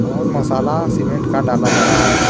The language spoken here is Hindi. और मसाला सीमेंट का डाला जा रहा है।